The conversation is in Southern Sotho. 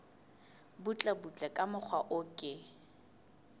butlebutle ka mokgwa o ke